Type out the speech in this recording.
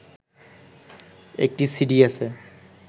একটি সিডি আছে